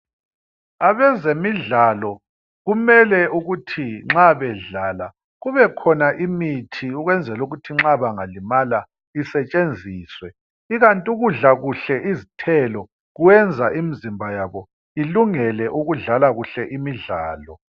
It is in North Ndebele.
Abezemidlalo nxa bedlala kumele kukhona imithi ukwenzela ukuthi bengalimala isetshenziswe ikant ukudla kuhle kwabo izithelo kuyenza imizimba yabo ilungele ukudlala kuhle imidlalo